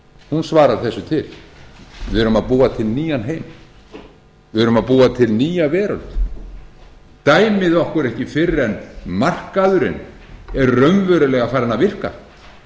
hún svarar þessu til við erum að búa til nýjan heim við erum að á til nýja veröld dæmið okkur ekki fyrr en markaðurinn er raunverulega farinn að virka